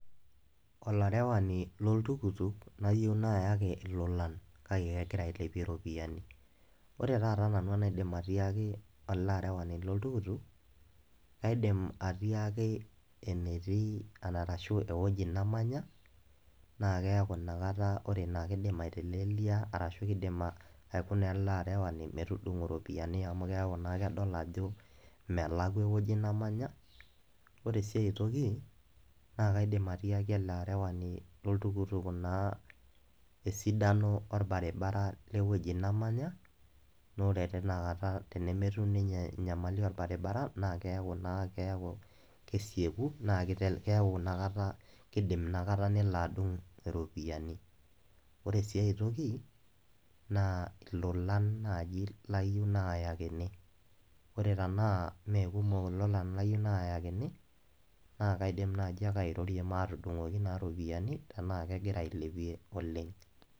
Olarewani loltukutuk layieu naaayaki ilolan kake egira ailepie iropiyiani. Oore taata nanu enaidim atiaki eele arewani loltukutuk, kaidim atiaki enatii arashu ewueji namanya, naa oore iina nakata naa keidim aitelelia arashu keidim aikuna eele arewani metudung'o iropiyiani amuu kiaku naa kedl aajo melakua ewueji namanya. Oore sii aae toki naa kaidim atiaki eele arewani loltukutuk esidano orbaribara lewueji namanya, naa oore teina kaata tenemetum ninye enyamali orbaribara, naa keaku naa kesieku naa keaku iina kaata keidim iina kata nelo adung iropiyiani. Oore sii aae toki naa ilolan naaji layieu nayakini. Oore tenaa imme kumok ilolan layieu nayakini naa kaidim naaji aake airorie matudung'oki naake iropiyiani tenaa kegira auilepie oleng.